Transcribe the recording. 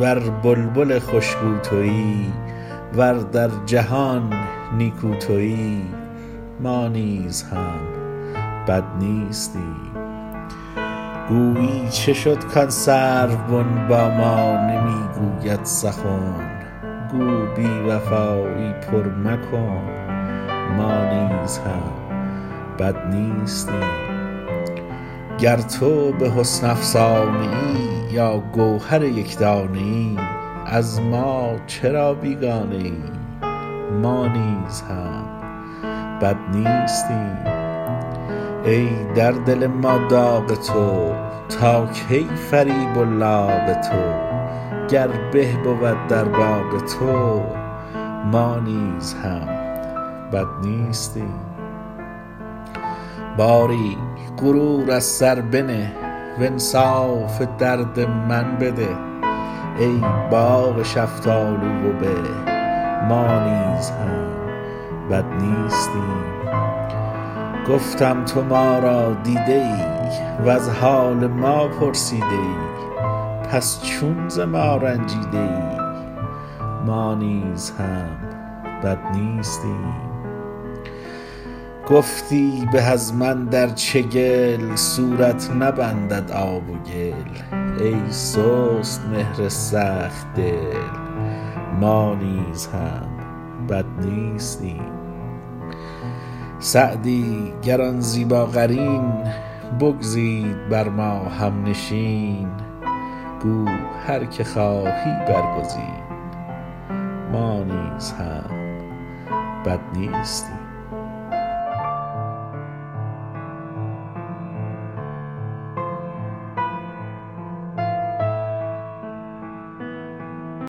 ور بلبل خوش گو تویی ور در جهان نیکو تویی ما نیز هم بد نیستیم گویی چه شد کآن سروبن با ما نمی گوید سخن گو بی وفایی پر مکن ما نیز هم بد نیستیم گر تو به حسن افسانه ای یا گوهر یک دانه ای از ما چرا بیگانه ای ما نیز هم بد نیستیم ای در دل ما داغ تو تا کی فریب و لاغ تو گر به بود در باغ تو ما نیز هم بد نیستیم باری غرور از سر بنه وانصاف درد من بده ای باغ شفتالو و به ما نیز هم بد نیستیم گفتم تو ما را دیده ای وز حال ما پرسیده ای پس چون ز ما رنجیده ای ما نیز هم بد نیستیم گفتی به از من در چگل صورت نبندد آب و گل ای سست مهر سخت دل ما نیز هم بد نیستیم سعدی گر آن زیباقرین بگزید بر ما هم نشین گو هر که خواهی برگزین ما نیز هم بد نیستیم